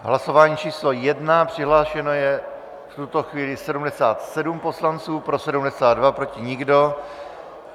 Hlasování číslo 1, přihlášeno je v tuto chvíli 77 poslanců, pro 72, proti nikdo.